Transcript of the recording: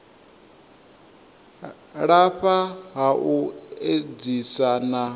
lafha ha u edzisa na